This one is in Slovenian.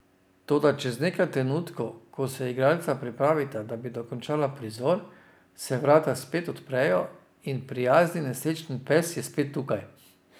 Toda čez nekaj trenutkov, ko se igralca pripravita, da bi dokončala prizor, se vrata spet odprejo in prijazni nesrečni pes je spet tukaj.